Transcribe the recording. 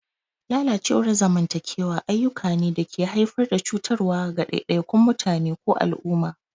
Lalacewar zamantakewa ayyuka ne da ke haifar da cutarwa ga ɗaiɗaikun mutane ko al'umma.